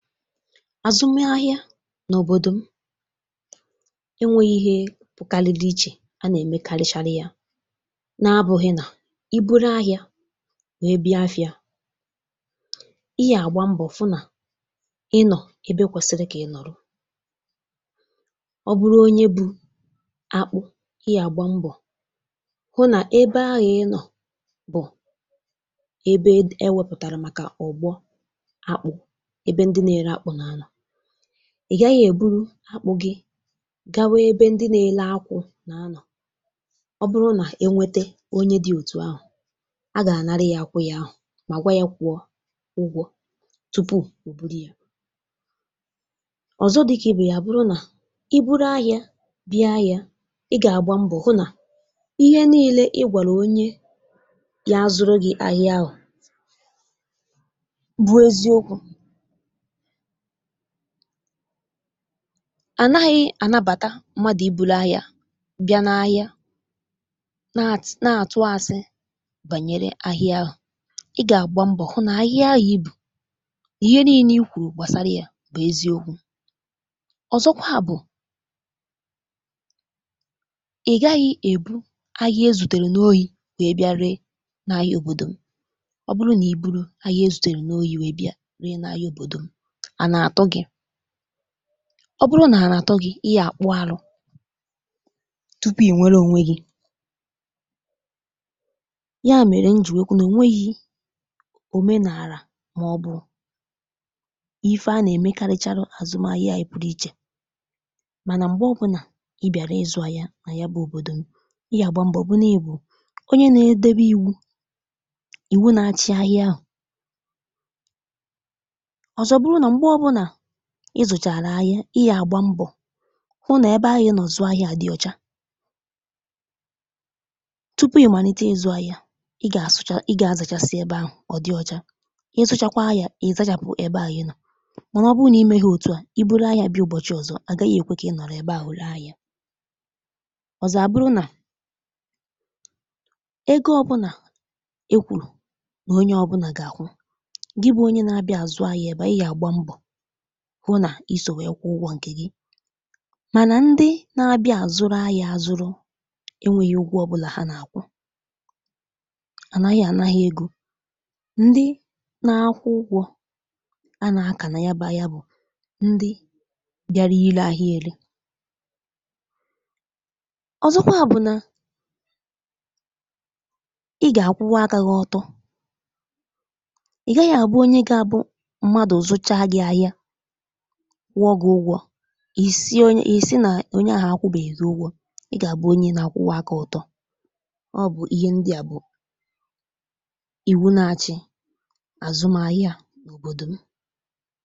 Azụmahịa n'obodo m enweghị ihe pụkalịli iche a na-emekarịcharị ya na-abụghị na i buru ahịa wee bịa afịa, ị ga-agba mbọ hụ na ị nọ ebe kwesịrị ka ị nọrọ. Ọ bụrụ onye bu akpụ, ị ga-agba mbọ hụ na ebe ahụ ị nọ bụ ebe d e wepụtara maka ọ̀gbọ́ akpụ, ebe ndị na-ere akpụ na-anọ. Ị gaghị e buru akpụ gị gawa ebe ndị na-ere akwụ́ na a nọ. Ọ bụrụ na-enwete onye dị otu ahụ, a ga-anarụ ya akwụ́ ya ahụ ma gwa ya kwụọ ụgwọ tupu o buru ya. Ọzọ dị ka ibe ya a bụrụ na i buru ahịa bịa ahịa, ị ga-agba mbọ hụ na ihe niile ị gwara onye ya a zụrụ gị ahịa ahụ bụ eziokwu. Anaghị anabata mmadụ i buru ahịa bịa n'ahịa na at na-atụ asị banyere ahịa ahụ. Ị ga-agba mbọ hụ na ahịa ahụ i bu, ihe niile i kwuru gbasara ya bụ eziokwu. Ọzọkwa bụ, ị gaghị e buru ahịa e zutere n'ohi wee bịa ree n'ahịa obodo m. Ọ bụrụ na i buuru ahịa e zutere n'ohi wee bịa ree n'ahịa obodo m, ana atụ gị. Ọ bụrụ na ana atụ gị, ị ya akpụ arụ tupu i nwere onwe gị. Ya mere m ji wee kwuo na o nweghi omenala maọbụ ife a na-emekarịcharị n'azụmahịa anyị pụrụ iche mana mgbe ọbụla ị biara ịzụ ahịa na ya bụ obodo m, ị ga-agba mbọ hụ na ị bụ onye na-edobe iwu, iwu na-achị ahịa ahụ. Ọzọ bụrụ na mgbe ọbụla ịzụchaala ahịa, ị ya agba mbọ hụ na ebe ahụ ị nọ zụ́ ahịa ahụ dị ọcha. Tupu ị malite ịzụ ahịa, ị ga-asụcha ị ga-azachasị ebe ahụ ọ dị ọcha. Ị sụchakwa ya, ị zachapụ ebe ahụ ị nọ. Mana ọ bụrụ na i meghi otu a, i buru ahịa bịa ụbọchị ọzọ, agaghị ekwe ka ị nọrọ ebe ahụ ree ahịa. Ọzọ a bụrụ na ego ọbụla e kwuru na onye ọbụla ga-akwụ, gị bụ onye na-abịa azụ ahịa ebe ahụ ị ga-agba mbọ i so wee kwụ ụgwọ nke gị. Mana ndị na-abịa a zuru ahịa azụrụ enweghi ụgwọ ọbụla ha ga-akwụ. A naghị ana ha ego. Ndị na-akwụ ụgwọ a na-aka na ya bụ ahịa bụ ndị bịara ile ahịa ele. Ọzọkwa bụ na ị ga-akwụwa aka gị ọtọ. Ị gaghị abụ onye ga-abụ mmadụ zụchaa gị ahịa kwụọ gị ụgwọ, i si onye ị sị na onye ahụ akwụbeghi gị ụgwọ. Ị ga-abụ onye na-akwụba aka ọtọ. Ọ bụ ihe ndị a bụ iwu na-achị azụmaahịa n'obodo m.